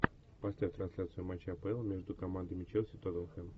поставь трансляцию матча апл между командами челси тоттенхэм